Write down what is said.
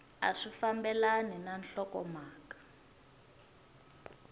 a swi fambelani na nhlokomhaka